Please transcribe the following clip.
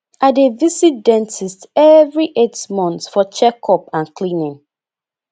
i dey visit dentist every eight months for checkup and cleaning